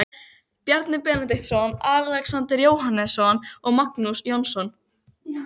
Bjarni Benediktsson, Alexander Jóhannesson og Magnús Jónsson.